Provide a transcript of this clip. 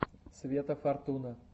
света фортуна